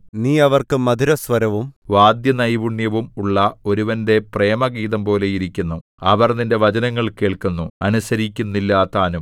നീ അവർക്ക് മധുരസ്വരവും വാദ്യനൈപുണ്യവും ഉള്ള ഒരുവന്റെ പ്രേമഗീതംപോലെ ഇരിക്കുന്നു അവർ നിന്റെ വചനങ്ങൾ കേൾക്കുന്നു അനുസരിക്കുന്നില്ലതാനും